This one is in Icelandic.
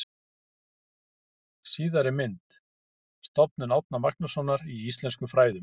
Síðari mynd: Stofnun Árna Magnússonar í íslenskum fræðum.